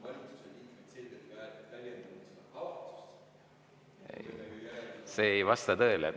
See ei vasta tõele.